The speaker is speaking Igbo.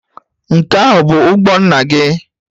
Nke ahụ bụ ụgbọ nna gị?